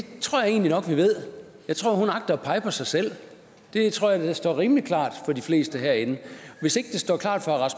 tror jeg egentlig nok vi ved jeg tror hun agter at pege på sig selv det tror jeg da står rimelig klart for de fleste herinde hvis ikke det står klart for